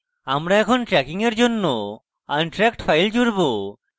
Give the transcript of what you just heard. আমরা এখন tracking we জন্য আনট্রাকড files জুড়ব